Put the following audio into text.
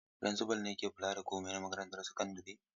Firinsifal ne ke kula da komai na makarantar sakandare.